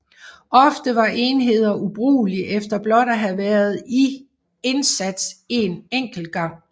Ofte var enheder ubrugelige efter blot at have været i indsats en enkelt gang